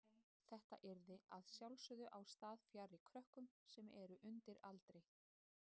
Þetta yrði að sjálfsögðu á stað fjarri krökkum sem eru undir aldri.